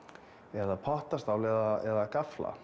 eða pottastál eða